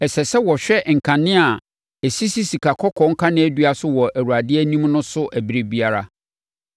Ɛsɛ sɛ wɔhwɛ nkanea a ɛsisi sikakɔkɔɔ kaneadua so wɔ Awurade anim no so ɛberɛ biara.